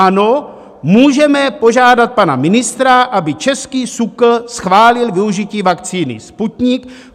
Ano, můžeme požádat pana ministra, aby český SÚKL schválil využití vakcíny Sputnik.